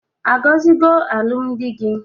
A gọzigo alụm di gi?